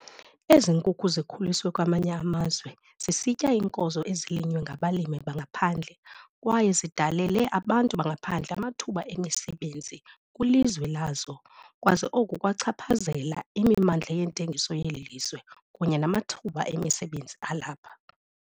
Ezi nkukhu zikhuliswe kwamanye amazwe, zisitya iinkozo ezilinywa ngabalimi bangaphandle kwaye zidalele abantu bangaphandle amathuba emisebenzi kwilizwe lazo kwaze oku kwachaphazela imimandla yeentengiso yeli lizwe kunye namathuba emisebenzi alapha.